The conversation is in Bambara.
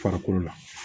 Farikolo la